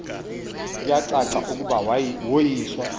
kuyacaca ukuba woyiswa